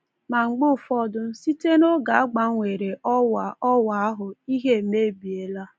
Ma mgbe ụfọdụ, site noge a gbanwere ọwa ọwa ahụ, ihe emebiela.